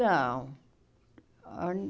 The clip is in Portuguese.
Não. Ãh